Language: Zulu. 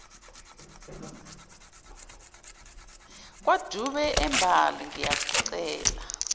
kwadube embali ngiyakucela